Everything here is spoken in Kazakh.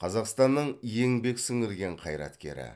қазақстанның еңбек сіңірген қайраткері